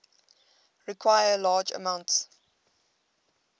require large amounts